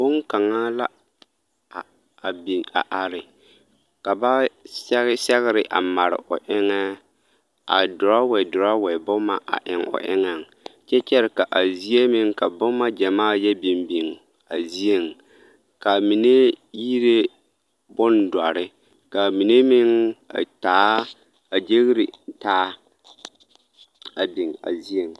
Boŋkaŋa la a biŋ a are ka ba sɛge sɛgere a mare o eŋɛ a dorɔwe dorɔwe boma a eŋo eŋɛŋ kyɛ kyɛre ka a zie meŋ ka boma gyɛmaa yɛ biŋ biŋ a zieŋ k'a mine yire bondɔre k'a mine meŋ a taa a gyere taa a biŋ a zieŋ.